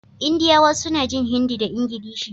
Indiyawa suna jin Hindi da Ingilishi